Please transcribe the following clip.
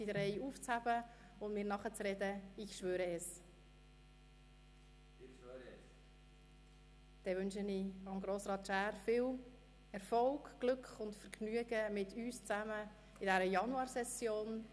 Ich wünsche Grossrat Schär viel Erfolg, Glück und Vergnügen mit uns in der Januarsession.